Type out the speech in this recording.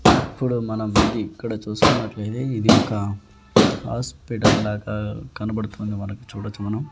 ఇప్పుడు మనం ఇక్కడ చూసుకున్నట్లయితే ఇది ఒక హాస్పిటల్ లాగా కనబడుతుంది మనకు చూడచ్చు మనం.